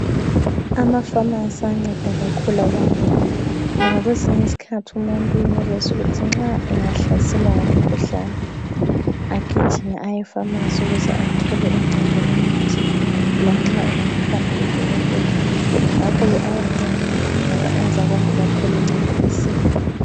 Amafamasi ayanceda kakhulu abantu ngoba kwezinye izikhathi umuntu uyenelisa ukuthi nxa engahlaselwa ngumkhuhlane agijime aye efamasi ukuze athole uncedo lomuthi lanxa engakahambi kudokotela. Ngakho-ke ayanceda ngoba enza abantu bathole uncedo masinyane.